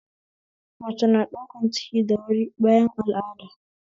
Mace na ɗaukan ciki da wuri bayan al'ada